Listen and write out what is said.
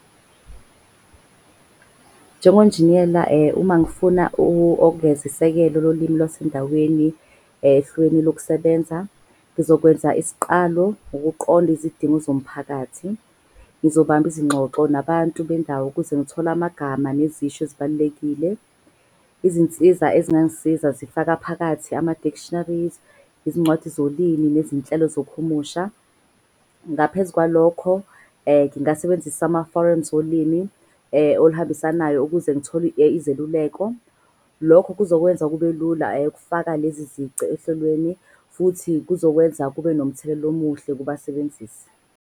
Njengonjiniyela uma ngifuna ogeza isekelo lolimi lwasendaweni hlelweni lokusebenza. Ngizokwenza isiqalo ukuqonda izidingo zomphakathi. Ngizobamba izingxoxo nabantu bendawo ukuze ngithole amagama nezisho ezibalulekile. Izinsiza ezingangisiza zifaka phakathi ama-dictionaries, izincwadi zolimi nezinhlelo zokuhumusha. Ngaphezu kwalokho, ngingasebenzisa ama-forums olimi oluhambisanayo ukuze ngithole izeluleko. Lokho kuzokwenza kube lula ukufaka lezi zici ohlelweni. Futhi kuzokwenza kube nomthelela omuhle kubasebenzisi.